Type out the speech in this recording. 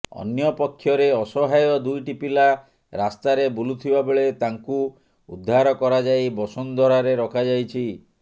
ଅନ୍ୟ ପକ୍ଷରେ ଅସହାୟ ଦୁଇଟି ପିଲା ରାସ୍ତାରେ ବୁଲୁଥିବା ବେଳେ ତାଙ୍କୁ ଉଦ୍ଧାର କରାଯାଇ ବସୁନ୍ଧରାରେ ରଖାଯାଇଛି